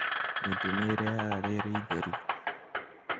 Mĩtĩ nĩ ĩrehaga rĩera itheru.